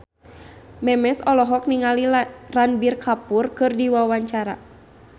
Memes olohok ningali Ranbir Kapoor keur diwawancara